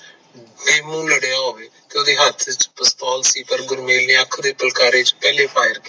ਲੜਿਆ ਹੋਵੇ ਓਹਦੇ ਹੇਠ ਚ ਪਿਸਤੌਲ ਸੀ ਪਰ ਗੁਰਮੇਲ ਨੇ ਅੱਖ ਦੇ ਫੁਲਕਾਰੇ ਚ ਪਹਿਲੇ fire